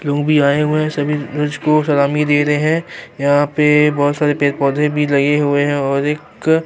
لوگ بھی اے ہوئے ہیں، سبھی لوگ کو سلامی دے رہے ہیں، یھاں پی بہت سارے پیڈ پودھے بھی لگے ہوئے ہیں، اور ایک--